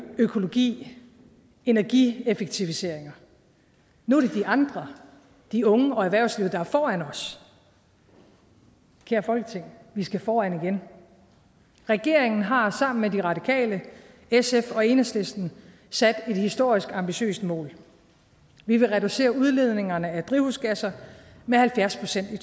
økologi energieffektiviseringer nu er det de andre de unge og erhvervslivet der er foran os kære folketing vi skal foran igen regeringen har sammen med de radikale sf og enhedslisten sat et historisk ambitiøst mål vi vil reducere udledningerne af drivhusgasser med halvfjerds procent i